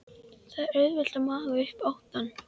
Það er auðvelt að magna upp óttann.